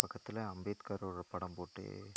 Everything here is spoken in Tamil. பக்கத்துல அம்பேத்கர் ஒட படம் போட்டு.